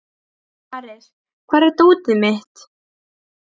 Ares, hvar er dótið mitt?